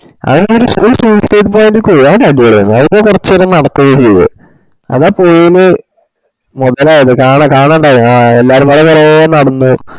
ആഹ് ഒര്സ്യു suiscidepoint ക്ക് പോയി അയിലെ കൊറച് നെരം നടക്കേം ചെയ് ആഹ് പൊയേൽ മൊതലായത് ആഹ് കാന കാനഡായ ആഹ് എല്ലാരും നര നരാ നടന്ന.